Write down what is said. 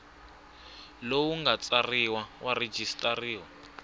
lowu nga tsariwa wa registrar